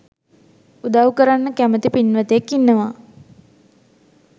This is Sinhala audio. උදව් කරන්න කැමති පින්වතෙක් ඉන්නවා